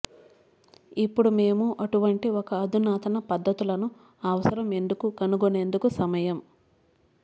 ఇప్పుడు మేము అటువంటి ఒక అధునాతన పద్ధతులను అవసరం ఎందుకు కనుగొనేందుకు సమయం